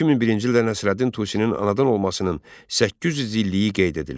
2001-ci ildə Nəsrəddin Tusinin anadan olmasının 800 illiyi qeyd edildi.